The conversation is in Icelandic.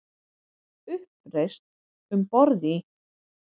Uppreisn um borð í